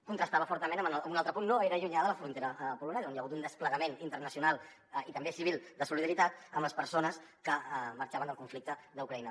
contrastava fortament amb un altre punt no gaire llunyà de la frontera polonesa on hi ha hagut un desplegament internacional i també civil de solidaritat amb les persones que marxaven del conflicte d’ucraïna